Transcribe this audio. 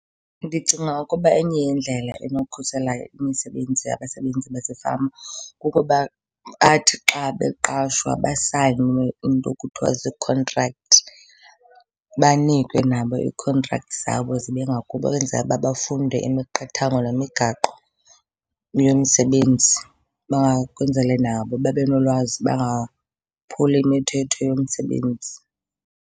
Ndicinga ukuba enye yeendlela enokukhusela imisebenzi yabasebenzi basefama kukuba bathi xa beqashwa basayine iinto ekuthiwa ziikhontrakthi. Banikwe nabo ii-contracts zabo zibe ngakubo ukwenzela uba bafunde imiqathango nemigaqo yomsebenzi , kwenzele nabo babe nolwazi bangaphuli imithetho yomsebenzi.